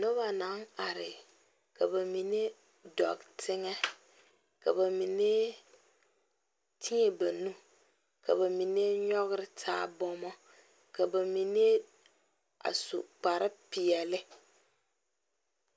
Noba naŋ are ka ba mine dɔɔ teŋɛ, ka ba mine teɛ ba nu ka ba nyɔge taa bama ka ba mine a su kpare. pɛɛle